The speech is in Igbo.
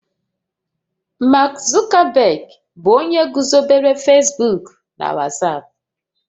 Mark Zuckerberg bụ onye guzobere Facebook na WhatsApp